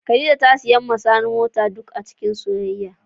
Khadijah ta siya ma sani mota duk acikin soyayya.